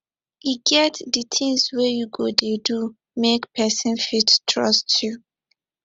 e get di tins wey you go dey do make pesin fit trust you